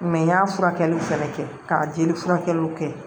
n y'a furakɛliw fɛnɛ kɛ ka jeli furakɛw kɛ